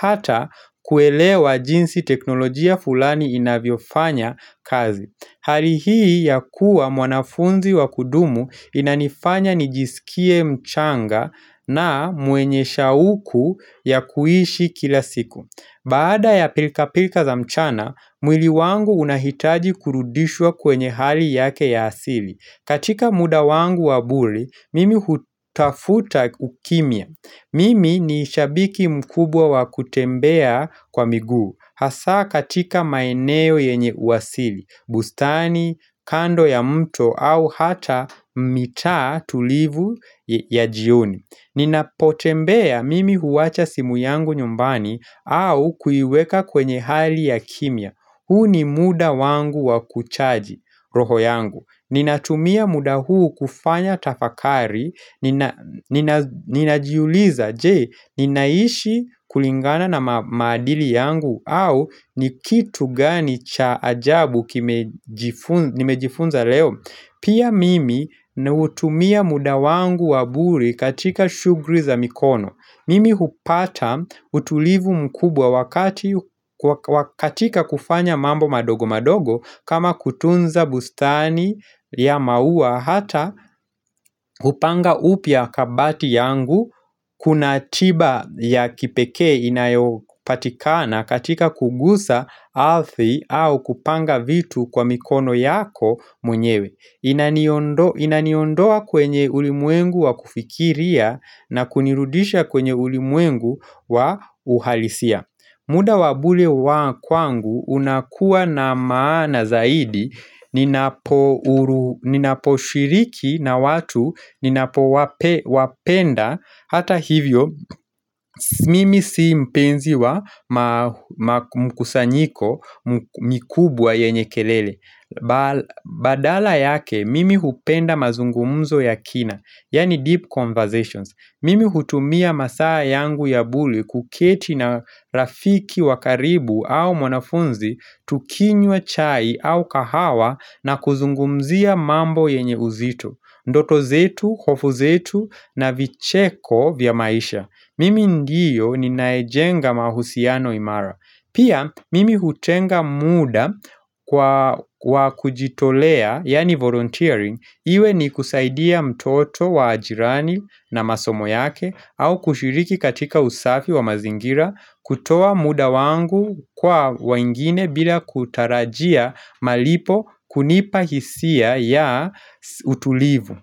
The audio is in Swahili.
hata kuelewa jinsi teknolojia fulani inavyo fanyakazi Hali hii ya kuwa mwanafunzi wa kudumu inanifanya nijisikie mchanga na mwenye shauku ya kuishi kila siku. Baada ya pilka-pilka za mchana, mwili wangu unahitaji kurudishwa kwenye hali yake ya asili. Katika muda wangu wa bure, mimi hutafuta ukimya. Mimi ni shabiki mkubwa wa kutembea kwa miguu. Hasa katika maeneo yenye uwasili, bustani, kando ya mto au hata mitaa tulivu ya jioni Ninapotembea mimi huwacha simu yangu nyumbani au kuiweka kwenye hali ya kimya huu ni muda wangu wa kuchaji roho yangu Ninatumia muda huu kufanya tafakari Ninajiuliza je, ninaishi kulingana na madili yangu? Au ni kitu gani cha ajabu nimejifunza? Nimejifunza leo? Pia mimi hutumia muda wangu wa bure katika shughuli za mikono Mimi hupata utulivu mkubwa katika kufanya mambo madogo madogo kama kutunza bustani ya maua hata kupanga upya kabati yangu Kuna tiba ya kipeke inayopatikana katika kuguza arthi au kupanga vitu kwa mikono yako mwenyewe Inaniondoa kwenye ulimwengu wa kufikiria na kunirudisha kwenye ulimwengu wa uhalisia muda wa bure wa kwangu unakuwa na maana zaidi ninaposhiriki na watu ninapowapenda hata hivyo mimi si mpenzi wa mkusanyiko mikubwa yenye kelele. Badala yake, mimi hupenda mazungumuzo ya kina. Yaani deep conversations. Mimi hutumia masaa yangu ya bure kuketi na rafiki wakaribu au mwanafunzi Tukinywa chai au kahawa na kuzungumzia mambo yenye uzito Ndoto zetu, hofu zetu na vicheko vya maisha Mimi ndiyo ninayejenga mahusiano imara Pia mimi hutenga muda kwa kujitolea, yani volunteering, iwe ni kusaidia mtoto wa jirani na masomo yake au kushiriki katika usafi wa mazingira kutoa muda wangu kwa wangine bila kutarajia malipo kunipa hisia ya utulivu.